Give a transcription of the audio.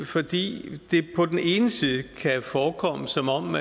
fordi det på den ene side kan forekomme som om